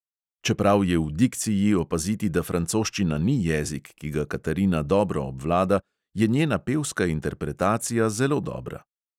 Čeprav je v dikciji opaziti, da francoščina ni jezik, ki ga katarina dobro obvlada, je njena pevska interpretacija zelo dobra.